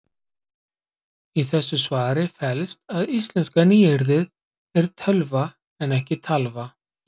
í þessu svari felst að íslenska nýyrðið er tölva en ekki talva